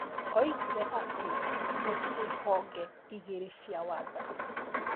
Oigire atĩ gũtirĩ honge igĩrĩ cia wathani.